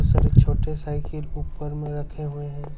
सारे छोटे साइकिल ऊपर में रखे हुए हैं।